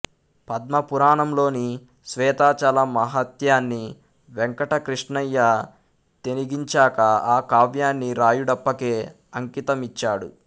పద్మ పురాణంలోని శ్వేతాచల మహాత్యాన్ని వెంకటకృష్ణయ్య తెనిగించాక ఆ కావ్యాన్ని రాయుడప్పకే అంకితమిచ్చాడు